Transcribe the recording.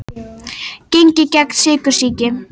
Gengið gegn sykursýki